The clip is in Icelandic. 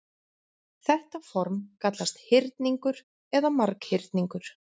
Þetta form kallast hyrningur eða marghyrningur.